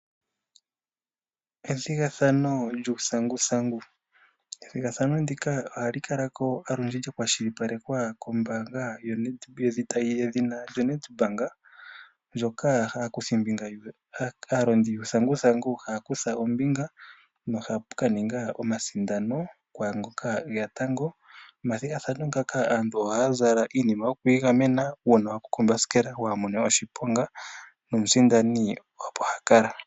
Ethigathano lyuuthigathano, ethigathano ndika ohali kalako olundji lyakwashilipalwekwa kombaanga yedhina Nedbank ndyoka aalondi yuuthanguthangu haya kutha ombinga na ohapu ka ningwa omasindano kwangoka eya tango, nomathigathano ngaka aantu ohaya zala iinima yo ku iigamena uuna wagwako kombasikela waamone oshiponga nomusindani opo hakala.